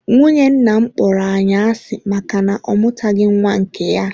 Nwunye nna m kpọrọ anyị asị maka na ọ mụtabeghị nwa nke ya.